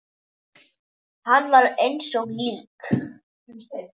Hann var eins og lík.